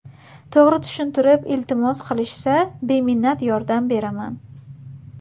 To‘g‘ri tushuntirib iltimos qilishsa, beminnat yordam beraman.